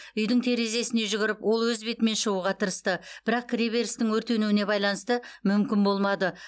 үйдің терезесіне жүгіріп ол өз бетімен шығуға тырысты бірақ кіреберістің өртенуіне байланысты мүмкін болмады